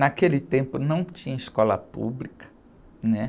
Naquele tempo não tinha escola pública, né?